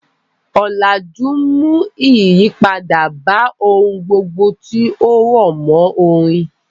Ọ̀làjú mú ìyípadà bá ohun gbogbo tí ó rọ̀mọ́ orin.